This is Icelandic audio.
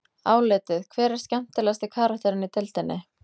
Álitið: Hver er skemmtilegasti karakterinn í deildinni?